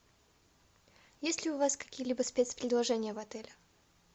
есть ли у вас какие либо спец предложения в отеле